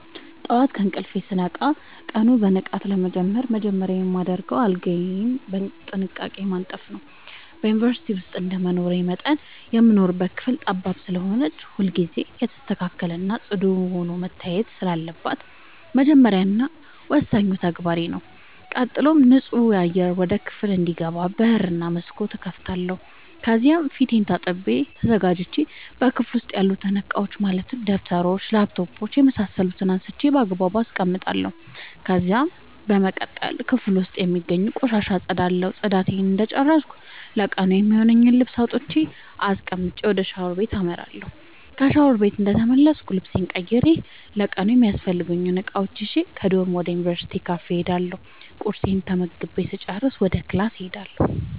ጠዋት ከእንቅልፌ ስነቃ ቀኑን በንቃት ለመጀመር መጀመሪያ የማደርገው አልጋዬን በጥንቃቄ ማንጠፍ ነዉ። በዩንቨርስቲ ዉስጥ እንደመኖሬ መጠን የምንኖርባት ክፍል ጠባብ ስለሆነች ሁልጊዜ የተስተካከለ እና ፅዱ ሆና መታየት ስላለባት የመጀመሪያ እና ወሳኙ ተግባሬ ተግባሬ ነዉ። ቀጥሎም ንፁህ አየር ወደ ክፍሉ እንዲገባ በር እና መስኮት እከፍታለሁ ከዚያም ፊቴን ታጥቤ ተዘጋጅቼ በክፍሉ ዉስጥ ያሉትን እቃዎች ማለትም ደብተሮች: ላፕቶፕ የምሳሰሉትን አንስቼ ባግባቡ አስቀምጣለሁ። ከዚያም በመቀጠል ክፍሉ ዉስጥ የሚገኙትን ቆሻሻ አፀዳለሁ ፅዳቴን እንደጨረስኩ ለቀኑ የሚሆነኝን ልብስ አውጥቼ አስቀምጬ ወደ ሻወር ቤት አመራለሁ። ከሻወር ቤት እንደተመለስኩ ልብሴን ቀይሬ ለቀኑ የሚያስፈልጉኝን እቃዎች ይዤ ከዶርም ወደ ዩንቨርስቲው ካፌ እሄዳለሁ ቁርሴን ተመግቤ ስጨርስ ወደ ክላስ እሄዳለሁ።